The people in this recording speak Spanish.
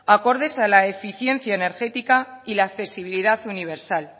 acordes a la eficiencia energética y la accesibilidad universal